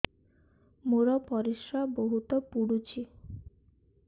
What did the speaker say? ମୋର ପରିସ୍ରା ବହୁତ ପୁଡୁଚି